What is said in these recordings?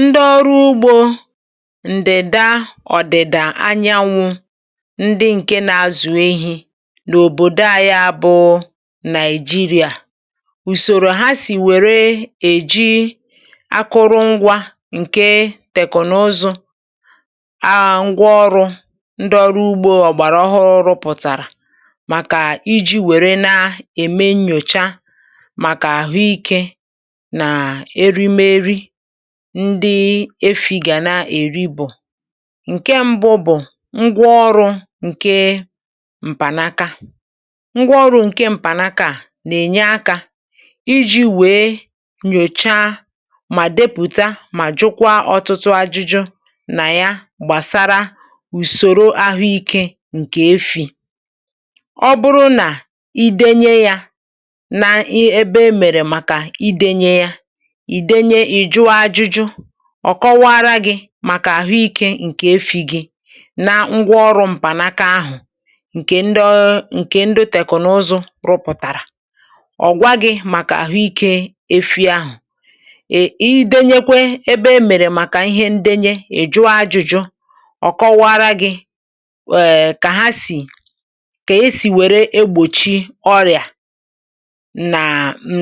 Ndị ọrụ ugbȯ ǹdida ọ̀dịdà anyanwụ, ndị ǹke na-azụ̀ ehi n’òbòdo anyi a bụ nàị̀jịrị̀à. Ùsòro ha sì wère èji akụrụ ngwȧ ǹke tèkònozu ngwa ọrụ̇ ndị ọrụ ugbȯ ọ̀gbàrà ọhụrụ pụ̀tàrà màkà iji̇ wère na-ème nnyòcha màkà àhụikė ndi efì gà na-èri bụ̀. Nke ṁbụ bụ̀ ngwa ọrụ ǹke m̀panaka. Ngwa ọrụ ǹke ṁpànaka à, nà-ènye akȧ iji wèe nyòchaa, mà depùta, mà jụkwa ọtụtụ ajụjụ nà ya gbàsara ùsòro ahụ ikė ǹkè efì. Ọ bụrụ nà idėnye yȧ nà ebe emèrè màkà idėnye yà, idėnye ì jụọ ajụ̀jụ, ọ̀ kọwaara gị̇ màkà àhụikė ǹkè efi gi, na ngwa ọrụ m̀pànaka ahụ̀ ǹkè ndị ọ ǹkè ndị teknụzụ rụpụ̀tàrà, ọ̀gwa gị màkà àhụikė efi ahụ̀. Ị dėnyekwe ebe e mèrè màkà ihe ndenye è jụọ ajụjụ ọ̀ kọwaara gị èè kà ha sì kà esì wère egbòchi ọrịà nà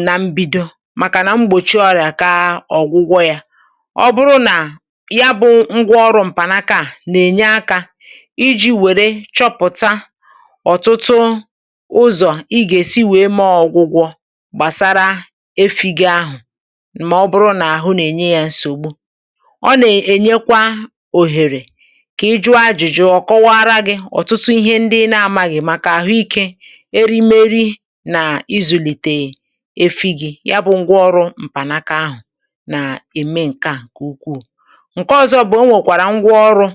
nà mbido maka na mgbochi ọrịa ka ọgwụgwọ ya. Ọ bụrụ nà ya bụ ngwa ọrụ m̀pànaka à nà-ènye akȧ iji̇ wère chọpụ̀ta ọ̀tụtụ ụzọ̀ ị gà-èsi wèe mee ọ gwụgwọ gbàsara efi gị ahụ̀, mà ọ bụrụ nà àhụ nà-ènye yȧ nsògbu. Ọ nà-ènyekwa òhèrè kà ijụ ajụ̀jụ ọ̀kọwara gị ọ̀tụtụ ihe ndị ị n'amaghị màkà àhụikė, erimeri, nà izùlìtèe efi gị. Yà bụ ngwa ọrụ m̀pànaka ahụ̀ nà-ème ǹke à nke ukwuu. Nké ọzọ bụ̀, ọ onwe kwara ngwa oru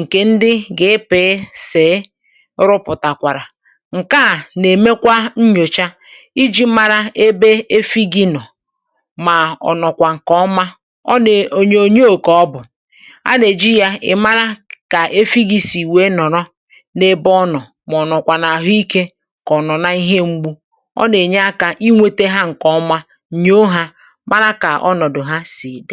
ǹkè ndị gi-epèe sìi rụpụ̀tàkwàrà, ǹke à nà-èmekwa nnyòcha iji mara ebe efi gị nọ̀, mà ọ̀ nọkwa ǹkè ọma ọ na onyonyo ka ọbụ̀. À nà-èji ya ìmara kà efi gị sì wèe nọ̀rọ n’ebe ọ nọ̀ mà ọ̀ nọ̀kwà nà àhụ ikė, ka ọ̀nọ̀na ihe m̀gbù. Ọ nà-ènye akȧ inwėte ha ǹkè ọma, nnyo ha mara ka ọnọdụ ha si di.